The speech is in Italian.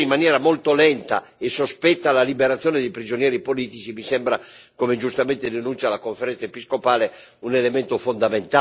Mi sembra, come giustamente denuncia la Conferenza episcopale, un elemento fondamentale per chiarire le reali intenzioni del vecchio governo.